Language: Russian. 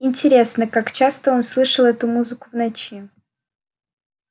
интересно как часто он слышал эту музыку в ночи